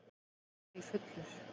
Auðvitað var ég fullur.